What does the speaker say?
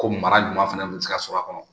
Komi mara ɲuman fana bɛ se ka sɔrɔ a kɔnɔ